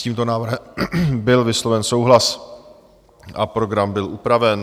S tímto návrhem byl vysloven souhlas a program byl upraven.